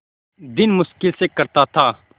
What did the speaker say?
दिन मुश्किल से कटता था